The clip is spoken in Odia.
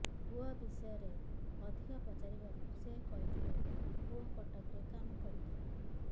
ପୁଅ ବିଷୟରେ ଅଧିକ ପଚାରିବାରୁ ସେ କହିଥିଲେ ପୁଅ କଟକରେ କାମ କରୁଥିଲା